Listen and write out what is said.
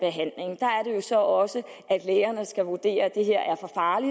at så også at lægerne skal vurdere det